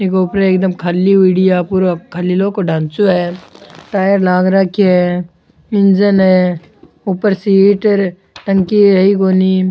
इक ऊपर एकदम खाली हुडी है आ पुर खाली लौह को ढांचों है टायर लाग राखो है इंजन है ऊपर सी टंकी है ही कोनी।